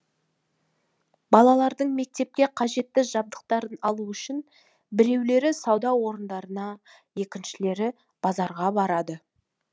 балаларының мектепке қажетті жабдықтарын алу үшін біреулері сауда орындарына екіншілері базарға барады